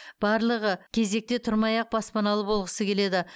барлығы кезекте тұрмай ақ баспаналы болғысы келеді